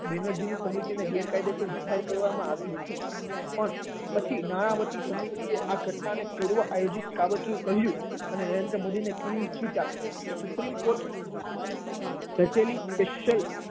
બેનરજી સમિતિ ગેરકાયદેસર જાહેર કરવામાં આવી હતી પણ પછી નાણાવટી સમિતિએ આ ઘટના ને પૂર્વ આયોજિત કાવતરું કહ્યું અને નરેન્દ્ર મોદી ને ક્લીન ચીટ આપી. સુપ્રિમ કોર્ટે રચેલી special